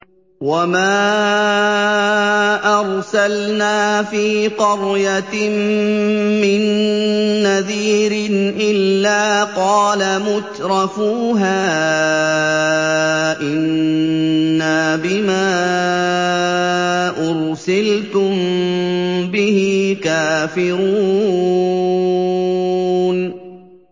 وَمَا أَرْسَلْنَا فِي قَرْيَةٍ مِّن نَّذِيرٍ إِلَّا قَالَ مُتْرَفُوهَا إِنَّا بِمَا أُرْسِلْتُم بِهِ كَافِرُونَ